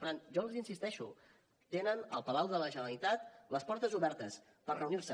per tant jo els hi insisteixo tenen al palau de la generalitat les portes obertes per reunir se